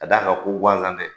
K'a d'a kan ko gansan tɛ.